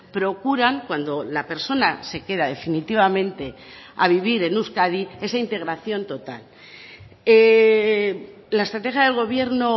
procuran cuando la persona se queda definitivamente a vivir en euskadi esa integración total la estrategia del gobierno